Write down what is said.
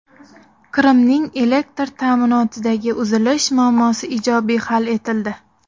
Qrimning elektr ta’minotidagi uzilish muammosi ijobiy hal etildi.